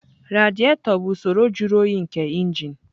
Radiator bụ usoro jụrụ oyi nke injin.